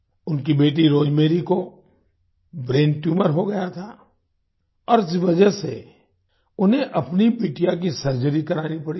उनकी बेटी रोजमेरी को ब्रेन ट्यूमर हो गया था और इस वजह से उन्हें अपनी बिटिया की सर्जरी करानी पड़ी थी